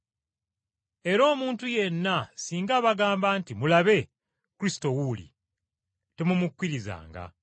Era omuntu yenna singa abagamba nti, ‘Mulabe, Kristo wuuli,’ temumukkirizanga.